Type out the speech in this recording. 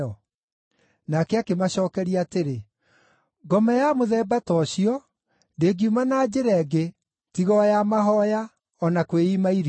Nake akĩmacookeria atĩrĩ, “Ngoma ya mũthemba ta ũcio ndĩngiuma na njĩra ĩngĩ tiga o ya mahooya (o na kwĩima irio).” (Nĩ harĩ maandĩko mangĩ matakoragwo na ũhoro ũyũ wa kwĩima irio).